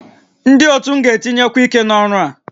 Ndị otu m ga-etinyekwu ike n'ọrụ a